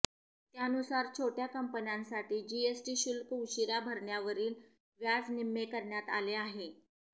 त्यानुसार छोट्या कंपन्यांसाठी जीएसटी शुल्क उशीरा भरण्यावरील व्याज निम्मे करण्यात आले आहे